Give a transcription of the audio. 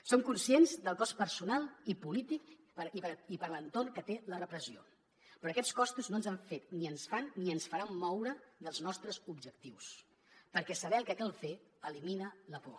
som conscients del cost personal i polític i per a l’entorn que té la repressió però aquests costos no ens han fet ni ens fan ni ens faran moure dels nostres objectius perquè saber el que cal fer elimina la por